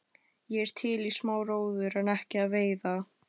Ég er til í smá róður en ekki að veiða.